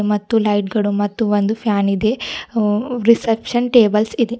ಮತ್ತು ಲೈಟ್ ಗಳು ಮತ್ತು ಒಂದು ಫ್ಯಾನ್ ಇದೆ ಹು- ರಿಸೆಪ್ಶನ್ ಟೇಬಲ್ಸ್ ಇದೆ.